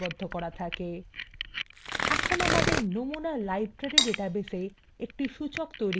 এখন আমাদের নমুনা library ডাটাবেসে একটি সূচক তৈরি করা যাক